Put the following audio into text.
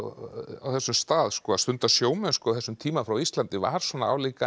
á þessum stað að stunda sjómennsku á þessum tíma frá Íslandi var svona álíka